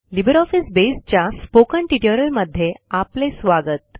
LibreOffice Base च्या spoken ट्युटोरियलमध्ये आपले स्वागत